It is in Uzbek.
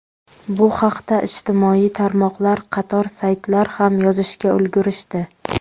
Bu haqda ijtimoiy tarmoqlar, qator saytlar ham yozishga ulgurishdi.